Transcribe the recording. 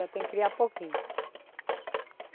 tem que criar pouquinho.